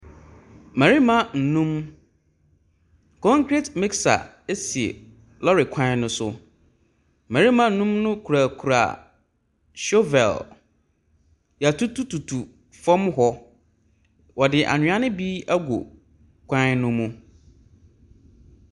Mmarima nnum, concrete mixer si lɔɔre kwan no so. Mmarima nnumno kurakura shovel. Wɔatutututu fam hɔ. Wɔde anwea no bi agu kwan no mu.